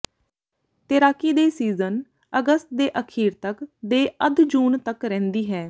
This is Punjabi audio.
ਤੈਰਾਕੀ ਦੇ ਸੀਜ਼ਨ ਅਗਸਤ ਦੇ ਅਖੀਰ ਤੱਕ ਦੇ ਅੱਧ ਜੂਨ ਤੱਕ ਰਹਿੰਦੀ ਹੈ